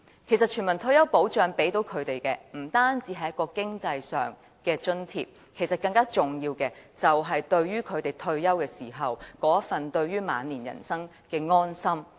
其實，全民退休保障給他們的不單是經濟上的津貼，更重要的是，退休時那份對於晚年人生的安心。